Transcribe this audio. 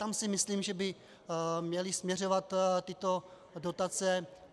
Tam si myslím, že by měly směřovat tyto dotace.